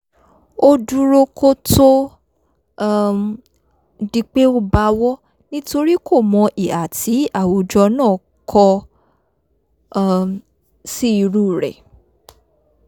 ó dúró kó tó um di pé ó bawọ́ nítorí kòmọ ìhà tí àwùjọ náà kọ um sí irú rẹ̀